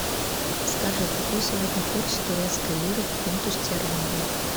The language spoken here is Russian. скажи какой сегодня курс турецкой лиры к фунту стерлингу